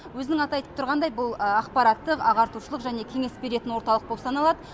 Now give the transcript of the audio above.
өзінің аты да айтып тұрғандай бұл ақпараттық ағартушылық және кеңес беретін орталық болып саналады